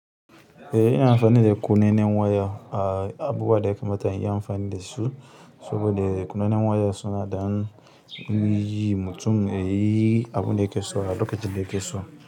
Eh ina amfani da kunnen waya abubuwa da ya kamata in yi amfani da su, saboda kunnen waya suna da hannu yayi mutum yayi abun da yake so a lokacin da yake so.